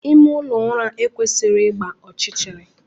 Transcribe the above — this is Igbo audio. Ime ụlọ ụra ekwesịghị ịgba ọchịchịrị.